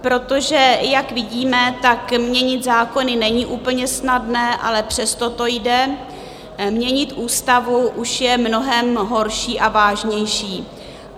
Protože jak vidíme, tak měnit zákony není úplně snadné, ale přesto to jde, měnit ústavu už je mnohem horší a vážnější.